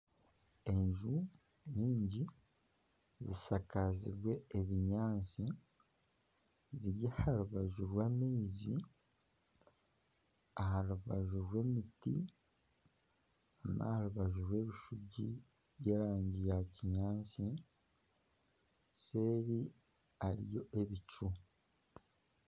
Enju nyingi zishakaziibwe ebinyaatsi ziri aha rubaju rw'amaizi aha rubaju rw'omuti naha rubaju rw'ebishugi by'erangi ya kinyaatsi nseeri hariyo ebicu